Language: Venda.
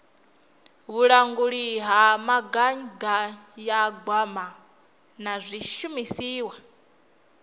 vhulanguli ha mugaganyagwama na zwishumiswa